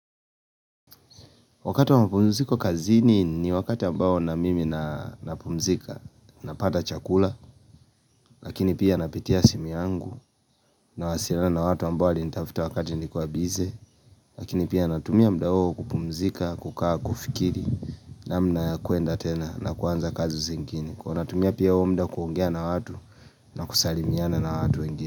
Wakati wapumziko kazini ni wakati ambao na mimi napumzika napata chakula Lakini pia napitia simi yangu na wasiliana na watu ambao walinitafuta wakati nikuwa busy Lakini pia natumia muda huo kupumzika kukaa kufikiri namna kuenda tena na kuanza kazi zingine Kwa natumia pia huo muda kuongea na watu na kusalimiana na watu wengine.